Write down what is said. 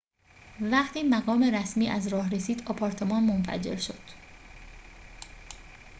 وقتی مقام رسمی از راه رسید آپارتمان منفجر شد